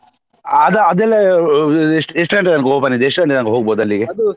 ಅದಾ ಅದೆಲ್ಲ ಎಷ್ಟು ಗಂಟೆ ತನ್ಕ open ಇದೆ ಎಷ್ಟು ಗಂಟೆ ತನ್ಕ ಹೋಗ್ಬೋದು ಅಲ್ಲಿಗೆ.